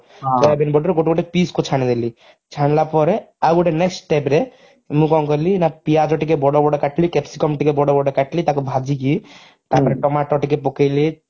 soybean ବଡିର ଗୋଟେ ଗୋଟେ piece କୁ ଛାଣିଦେଲି ଛାଣିଲା ପରେ ଆଉ ଗୋଟେ next step ରେ ମୁଁ କଣ କାଲି ନା ପିଆଜ ଟିକେ ବଡ ବଡ କାଟିଲି capsicum ଟିକେ ବଡ ବଡ କାଟିଲି ତାକୁ ଭାଜିକି ତାପରେ tomato ଟିକେ ପକେଇଲି